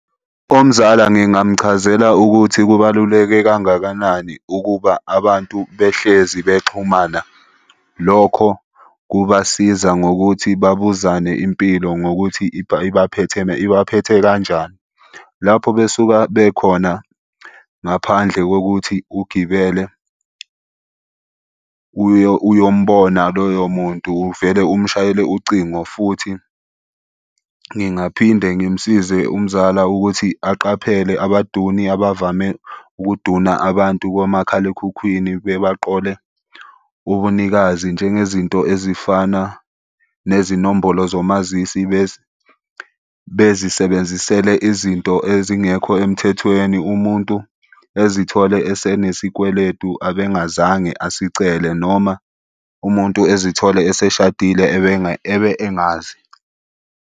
Umzala ngingamchazela ukuthi kubaluleke kangakanani ukuba abantu behlezi bexhumana. Lokho kubasiza ngokuthi babuzane impilo ngokuthi ibaphethe ibaphethe kanjani lapho besuka bekhona. Ngaphandle kokuthi ugibele uye uyombona loyo muntu uvele umshayele ucingo, futhi ngingaphinde ngimsize umzala ukuthi aqaphele abaduni abavame ukuduna abantu komakhalekhukhwini bebaqole ubunikazi. Njengezinto ezifana nezinombolo zomazisi bezisebenzisele izinto ezingekho emthethweni. Umuntu ezithole esenesikweletu ebengazange asicele noma umuntu ezithole eseshadile ebe engazi.